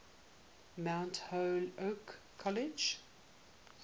mount holyoke college